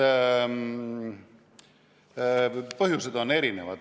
Eks need põhjused ole erinevad.